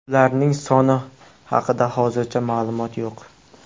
Ularning soni haqida hozircha ma’lumot yo‘q.